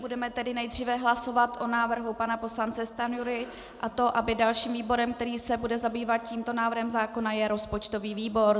Budeme tedy nejdříve hlasovat o návrhu pana poslance Stanjury, a to aby dalším výborem, který se bude zabývat tímto návrhem zákona, byl rozpočtový výbor.